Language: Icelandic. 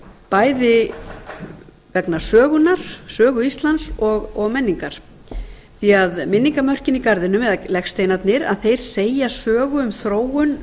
bæði vegna sögu íslands og menningar því minningamörkin í garðinum eða legsteinarnir segja sögu um þróun